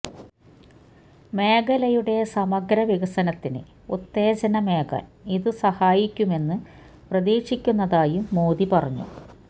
മേഖലയുടെ സമഗ്ര വികസനത്തിന് ഉത്തേജനമേകാൻ ഇതു സഹായിക്കുമെന്ന് പ്രതീക്ഷിക്കുന്നതായും മോദി പറഞ്ഞു